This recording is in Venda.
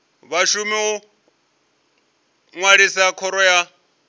vhashumi u ṅwalisa khoro ya